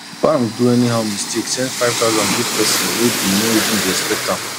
bank do anyhow mistake send 5000 give person wey bin no even dey expect am